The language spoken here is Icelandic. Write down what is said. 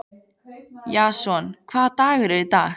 Jason, hvaða dagur er í dag?